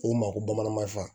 Ko n ma ko bamanan mafa